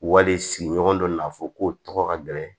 Wali sigiɲɔgɔn dɔ n'a fɔ ko ka gɛlɛn